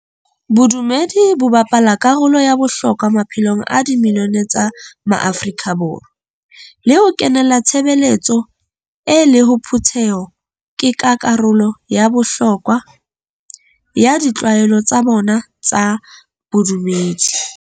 Bodumedi bo bapala karolo ya bohlokwa maphelong a di milione tsa maAfrika Borwa, le ho kenela tshebeletso e le phutheho ke ka karolo ya bohlokwa ya ditlwaelo tsa bona tsa bodumedi.